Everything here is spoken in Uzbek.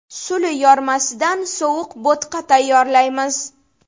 Suli yormasidan sovuq bo‘tqa tayyorlaymiz.